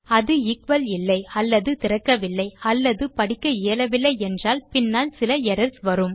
அது எக்குவல் இல்லை அல்லது திறக்கவில்லை அல்லது படிக்க இயலவில்லை என்றால் பின்னால் சில எரர்ஸ் எழும்